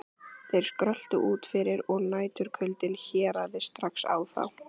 Þeir skröltu út fyrir og næturkuldinn herjaði strax á þá.